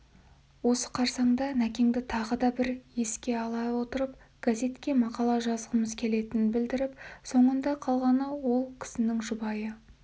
осы қарсаңда нәкеңді тағы бір еске ала отырып газетке мақала жазғымыз келетінін білдіріп соңында қалған ол кісінің жұбайы